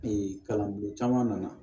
kalanbolo caman nana